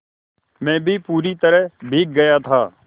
मैं भी पूरी तरह भीग गया था